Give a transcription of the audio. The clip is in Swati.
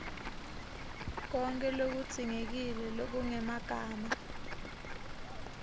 konkhe lokudzingekile lokungemagama